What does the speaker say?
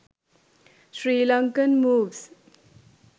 sirlankan moves